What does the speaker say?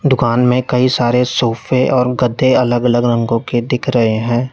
दुकान में कई सारे सोफे और गद्दे अलग अलग रंगों के दिख रहे हैं।